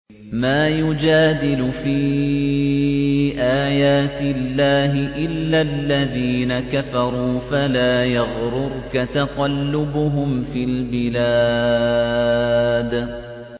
مَا يُجَادِلُ فِي آيَاتِ اللَّهِ إِلَّا الَّذِينَ كَفَرُوا فَلَا يَغْرُرْكَ تَقَلُّبُهُمْ فِي الْبِلَادِ